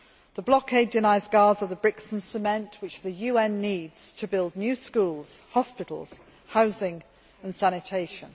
The blockade denies Gaza the bricks and cement which the UN needs to build new schools, hospitals, housing and sanitation.